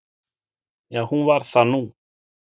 Já, hún varð það nú.